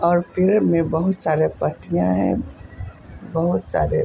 और पेड़ में बहुत सारे पत्तियां है बहोत सारे --